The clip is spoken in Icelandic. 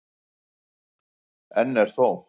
Enn er þó